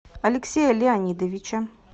алексея леонидовича